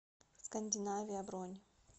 скандинавия бронь